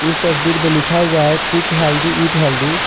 इस तस्वीर में लिखा हुआ है कुक हेल्दी ईट हेल्दी ।